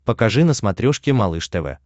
покажи на смотрешке малыш тв